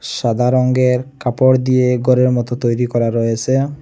সাদা রঙ্গের কাপড় দিয়ে গরের মত তৈরি করা রয়েসে।